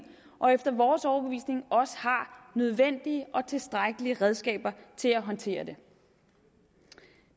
og efter vores overbevisning også har nødvendige og tilstrækkelige redskaber til at håndtere det